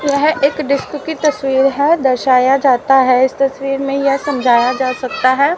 यह एक डिस्क की तस्वीर है दर्शाया जाता है इस तस्वीर में यह समझाया जा सकता है।